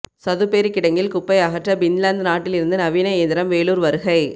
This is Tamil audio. சதுப்பேரி கிடங்கில் குப்பை அகற்ற பின்லாந்து நாட்டில் இருந்து நவீன இயந்திரம் வேலூர் வருகை